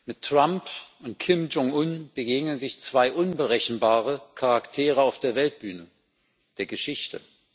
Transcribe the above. Mit Trump und Kim Jong un begegnen sich zwei unberechenbare Charaktere auf der Weltbühne der Geschichte.